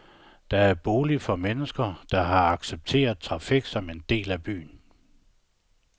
Det er boliger for mennesker, der har accepteret trafik som en del af byen.